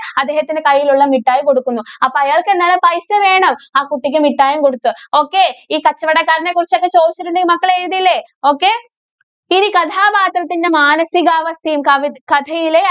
അദ്ദേഹത്തിന്‍റെ കൈയിലുള്ള മിഠായി കൊടുക്കുന്നു. അപ്പോ അയാള്‍ക്ക് എന്താണ് പൈസ വേണം. ആ കുട്ടിക്ക് മിഠായിയും കൊടുത്ത്. okay ഈ കച്ചവടക്കാരനെ കുറിച്ചൊക്കെ ചോദിച്ചിട്ടുണ്ടെങ്കില്‍ മക്കള് എഴുതില്ലേ? okay. ഇനി കഥാപാത്രത്തിന്റെ മാനസികാവസ്ഥയും, കവിത കഥയിലെ